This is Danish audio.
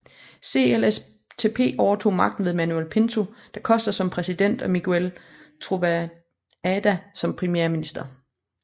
CLSTP overtog magten med Manuel Pinto da Costa som præsident og Miguel Trovoada som premierminister